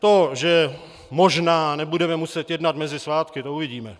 To, že možná nebudeme muset jednat mezi svátky, to uvidíme.